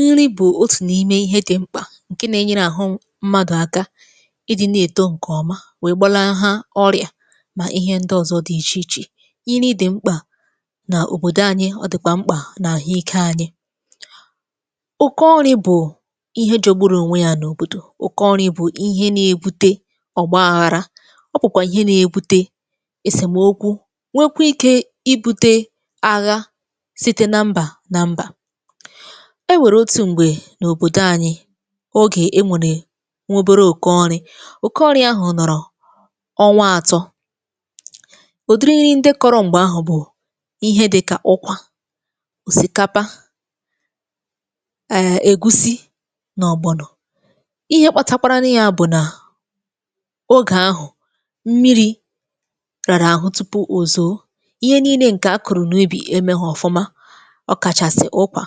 Nri bụ otu n’ime ihe dị mkpa nke na-enyere ahụ mmadụ aka ịdị na-eto nke ọma wee gbalaha ọrịa ma ihe ndị ọzọ dị iche iche. Nri dị mkpa n’obodo anyị, ọ dịkwa mkpa n’ahụike anyị. Ụkọ nri bụ ihe jọgbụrụ onwe ya n’obodo. Ụkọ nri bụ ihe na-ebute ọgbaghara. Ọ bụkwa ihe na-ebute esemokwu, nwekwaa ike ibute agha site na mba na mba. E nwere otu mgbe n’obodo anyị, oge e nwere nwa obere ukọ nri. Ụkọ nri ahụ nọrọ ọnwa atọ. ụdịrị nri ndị kọrọ mgbe ahụ bụ ihe dị k ụkwa, osikapa, err egusi na ọgbọnọ. Ihe kpatakwara nụ ya bụ na oge ahụ, mmiri rara ahụ tupu o zoo. Ihe niilė nke a kụrụ n’ubì emeghi ọfụma, ọ kachasị ụkwa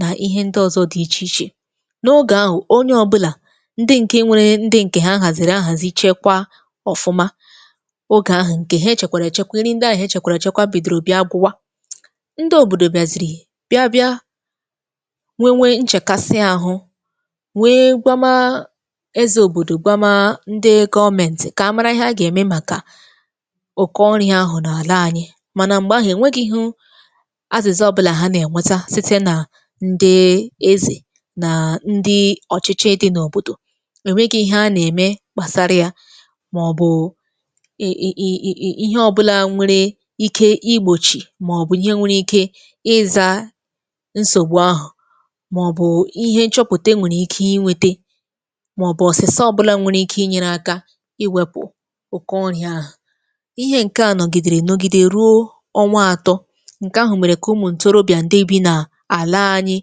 na ihe ndị ọzọ dị iche iche. N’oge ahụ, onye ọ bụla, ndị nke nwere ndị nke ha haziri ahazi chekwaa ọfụma, oge ahụ nke ha chekwara echekwa nri ndị ahụ e chekwara echekwa bidoro bịa gwụwa. ndị obodo bịaziri bịa bịa nweewe nchekasị ahụ wee gwama Eze obodo gwama ndị gọọmentị ka a mara ihe a ga-eme maka ụkọ nri ahụ n’ala anyị. Mana mgbe ahụ enweghi azịza ọbụla ha na-enweta site na ndị Eze na ndị ọchịchị dị n’obodo. E nweghị ihe a na-eme gbasara ya ma ọ bụ ị ị ị ị ihe ọbụla nwere ike igbochi ma ọ bụ ihe nwere ike ịza nsogbu ahụ ma ọ bụ ihe nchọpụta nwere ike inwete, ma ọ bụ ọsịsa ọbụla nwere ike ịnyere aka iwepụ ụkọ nri̇ ahụ. Ihe nke a nọgidere nọgide ruo ọnwa atọ. Nke ahụ mere ka ụmụ ntorobịa ndị bi n’ala anyị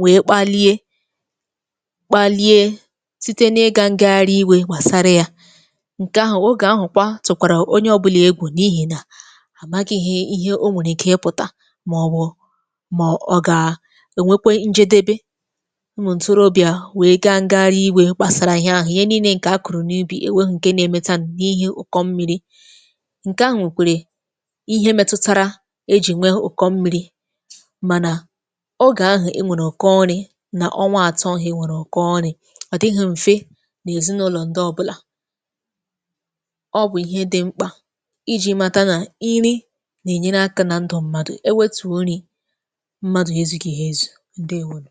wee kpalie kpalie site n’ịga ngagharị iwe gbasara ya. Nke ahụ oge ahụ kwa tụkwara onye ọbụla egwu n’ihi na amaghị ihe ihe o nwere ike ịpụta ma ọ bụ ma ọ ọ ga-enwekwo njedebe. Ụmụ ntorobịa wee gaa ngagharị iwe gbasara ihe ahụ. Ihe niile nke a kụrụ n’ubi eweghị nke na-emetanụ n’ihi ụkọ mmiri. Nke ahụ nwekwara ihe metutara e ji nwee ụkọ mmiri. Mana, n’oge ahụ e nwere ụkọ nri n’ọnwa atọ ahụ e nwere ụkọ nrị, ọ dịghị mfe n’ezinụlọ ndị ọbụla. Ọ bụ ihe dị mkpa iji mata na nri na-enyere aka na ndụ mmadụ, e wetuo nri, mmadụ ezudịghị ezu. Ndewo nu